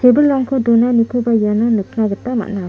tebilrangko donanikoba iano nikna gita man·a.